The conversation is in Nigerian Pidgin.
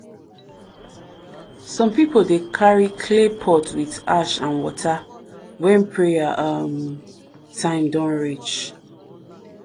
some people dey carry clay pot with ash and water when prayer um time don reach.